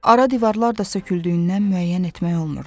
Ara divarlar da söküldüyündən müəyyən etmək olmurdu.